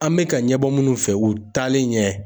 An bɛ ka ɲɛbɔ minnu fɛ u taalen ɲɛ